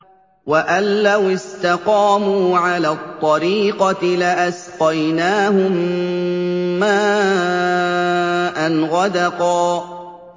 وَأَن لَّوِ اسْتَقَامُوا عَلَى الطَّرِيقَةِ لَأَسْقَيْنَاهُم مَّاءً غَدَقًا